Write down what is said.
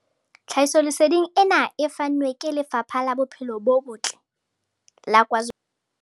Tlhahisoleseding ena e fanwe ke Lefapha la Bophelo bo Botle la KwaZulu-Natal.